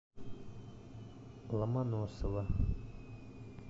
ломоносова